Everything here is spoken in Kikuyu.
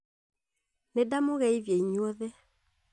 Nĩ ndamũgeithia inyuothe